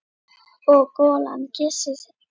Og golan kyssir kinn.